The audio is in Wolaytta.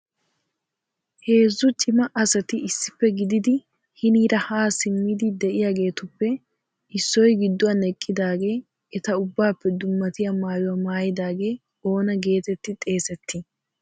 Heezzu cima asati issippe gididi hiniira ha simmidi de'iyaageetuppe issoy gidduwan eqqidaagee eta ubbappe dummatiyaa maayuwa maayidaage oonaa getetti xeesseti?